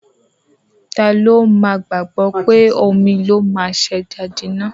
Tá ló má gbágbọ pé omí ló má ṣe ejá jìnà